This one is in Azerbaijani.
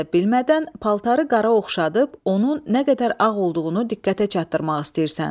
Özün də bilmədən paltarı qara oxşadıb, onun nə qədər ağ olduğunu diqqətə çatdırmaq istəyirsən.